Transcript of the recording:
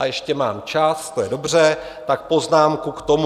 A ještě mám čas, to je dobře, tak poznámku k tomu.